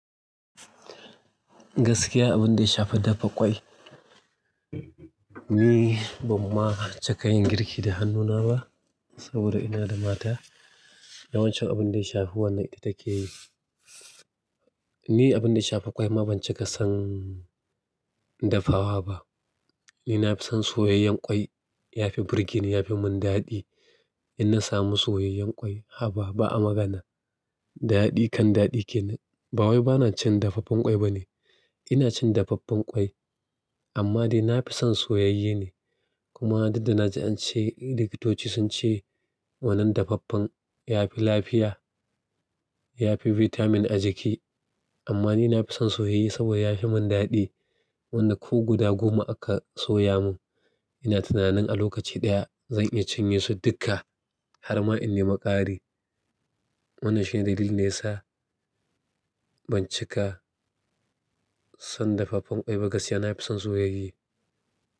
Gaskiya abin da ya shafa dafa ƙwai, ni ban ma cika yin girki da hannuna ba saboda ina da mata. Yawanci abin da ya shafa wannan ita take yi. Ni abin da ya shafa ƙwai ma ban cika son dafawa ba. Ni na fi son soyayyen ƙwai ya fi birgi ne ya fi mun daɗi. In na samu soyayyen ƙwai, haba ba a magana. Daɗi kan daɗi kenan. Ba wai bana cin dafaffen ƙwai ba ne, ina cin dafaffen ƙwai amma dai na fi son soyayye ne. Kuma duk da na ji an ce likitoci sun ce wannan dafaffen ya fi lafiya, ya fi bitamin a jiki amma ni na fi son soyayye saboda ya fi mun daɗi. Wanda ko guda goma aka soya mun, ina tunanin a lokaci ɗaya zan iya cinye su duka har ma in nemi ƙari. Wannan shine dalilin da ya sa ban cika son dafaffen ƙwai ba gaskiya na fi son soyayye.